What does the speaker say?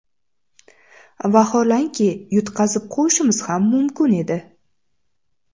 Vaholanki, yutqazib qo‘yishimiz ham mumkin edi.